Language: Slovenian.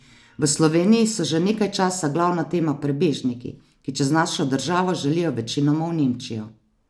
V Sloveniji so že nekaj časa glavna tema prebežniki, ki čez našo državo želijo večinoma v Nemčijo.